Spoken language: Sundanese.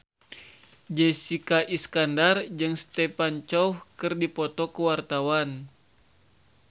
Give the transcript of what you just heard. Jessica Iskandar jeung Stephen Chow keur dipoto ku wartawan